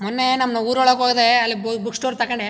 ಮೊನ್ನೆ ನಮ್ಮ ಊರೊಳಗೆ ಹೋದೆ ಅಲ್ಲಿ ಬುಕ್ ಸ್ಟೋರ್ ತಕೊಂಡೆ.